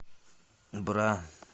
бра